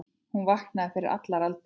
Hún vaknaði fyrir allar aldir.